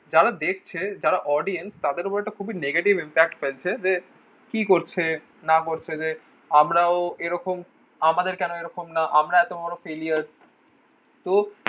যারা দেখছে যারা audience তাদের উপর একটা খুবই negative impact ফেলছে যে কি করছে না করছে যে আমরাও এরকম আমাদের কোনো এইরকম না আমরা এত বড়ো failure তো